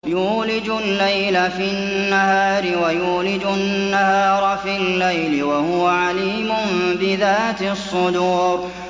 يُولِجُ اللَّيْلَ فِي النَّهَارِ وَيُولِجُ النَّهَارَ فِي اللَّيْلِ ۚ وَهُوَ عَلِيمٌ بِذَاتِ الصُّدُورِ